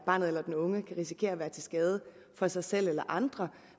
barnet eller den unge kan risikere at være til skade for sig selv eller andre